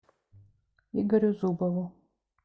игорю зубову